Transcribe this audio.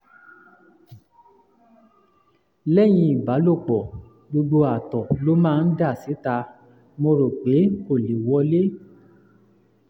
lẹ́yìn ìbálòpọ̀ gbogbo àtọ̀ ló máa ń dà síta; mo rò pé kò lè wọlé